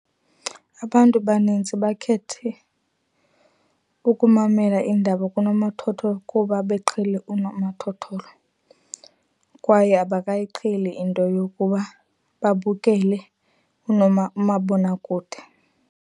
Abantu banintsi bakhethe ukumamela iindaba kunomathotholo kuba beqhele unomathotholo. Kwaye abakayiqheli into yokuba babukele umabonakude.